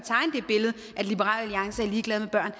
ligeglade med børn